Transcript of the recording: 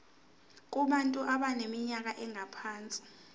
kubantu abaneminyaka engaphansi